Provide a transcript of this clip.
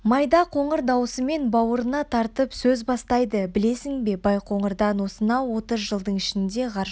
майда қоңыр даусымен бауырына тартып сөз бастайды білесің бе байқоңырдан осынау отыз жылдың ішінде ғарышқа